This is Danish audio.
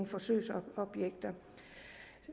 forsøgsobjekt